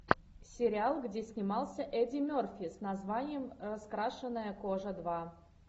сериал где снимался эдди мерфи с названием раскрашенная кожа два